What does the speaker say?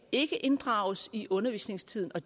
ikke kan inddrages i undervisningstiden og